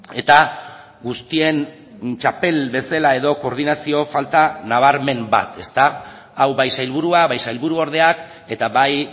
eta guztien txapel bezala edo koordinazio falta nabarmen bat ezta hau bai sailburua bai sailburuordeak eta bai